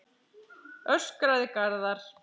öskraði Garðar.